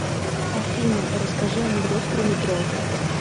афина расскажи анекдот про метро